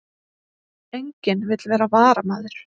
Enginn vill vera varamaður